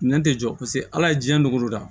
Nɛn tɛ jɔ paseke ala ye jiɲɛ dgolo da